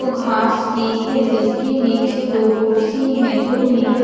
को घास की है जिसके नीचे दो कुर्सी है जो नीले--